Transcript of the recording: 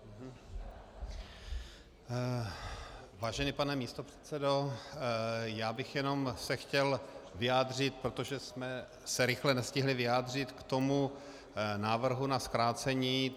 Vážený pane místopředsedo, já bych se jenom chtěl vyjádřit, protože jsme se rychle nestihli vyjádřit, k tomu návrhu na zkrácení.